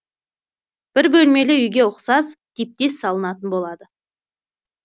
бір бөлмелі үйге ұқсас типтес салынатын болады